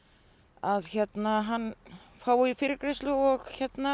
að hann fái fyrirgreiðslu og